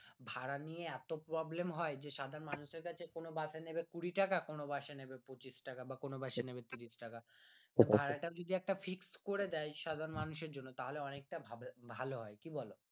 ভাড়া নিয়ে এত problem হয় যে সাধারণ মানুষের কাছে কোন বাস নেবে কুড়ি টাকা কোনো বাসে নেবে পচিঁশ টাকা কোনো বাস এ নেবে তিরিশ টাকা তো ভাড়াটা যদি একটু fixed করে দেয় সাধারণ মানুষের জন্য তাহলে অনেকটা ভাভালো হয়